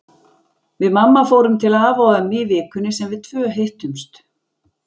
Við mamma fórum til afa og ömmu í vikunni sem við tvö hittumst.